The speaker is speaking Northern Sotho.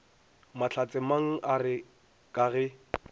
mahlatsemang a re ka ge